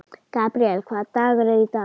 Gabríel, hvaða dagur er í dag?